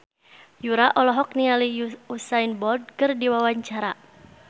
Yura olohok ningali Usain Bolt keur diwawancara